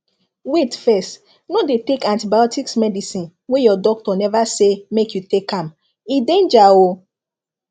wait fess no dey take antibiotics medicine wey your doctor neva say make you take am e danger o